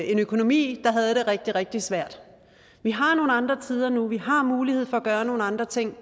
en økonomi der havde det rigtig rigtig svært vi har nogle andre tider nu vi har mulighed for at gøre nogle andre ting